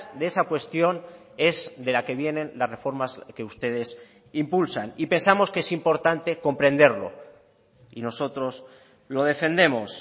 de esa cuestión es de la que vienen las reformas que ustedes impulsan y pensamos que es importante comprenderlo y nosotros lo defendemos